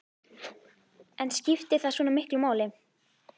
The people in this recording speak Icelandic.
inn sem einn af stórviðburðunum í sögu kristninnar.